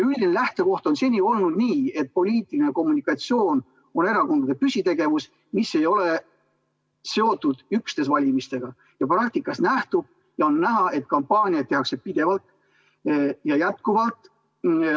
Üldine lähtekoht on seni olnud niisugune, et poliitiline kommunikatsioon on erakondade püsitegevus, mis ei ole seotud üksnes valimistega, ja praktikast on näha, et kampaaniaid tehakse pidevalt ja jätkuvalt.